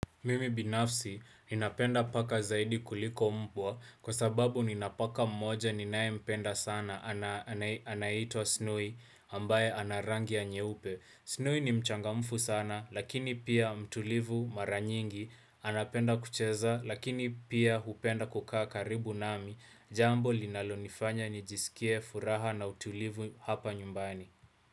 Mimi binafsi ninapenda paka zaidi kuliko mbwa kwa sababu nina paka mmoja ninaempenda sana anaitwa Snowy, ambaye anarangia nyeupe. Snowy ni mchangamfu sana lakini pia mtulivu mara nyingi. Anapenda kucheza lakini pia hupenda kukaa karibu nami jambo linalonifanya nijisikie furaha na utulivu hapa nyumbani.